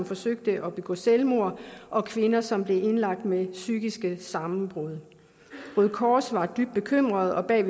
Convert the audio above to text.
forsøgte at begå selvmord og kvinder som blev indlagt med psykiske sammenbrud røde kors var dybt bekymret og bad